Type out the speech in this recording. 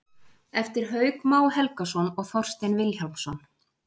eftir hauk má helgason og þorstein vilhjálmsson